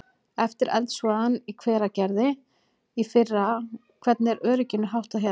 Eftir eldsvoðann í Hveragerði í fyrra að sko, hvernig er örygginu háttað hérna?